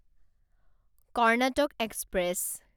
Karnataka express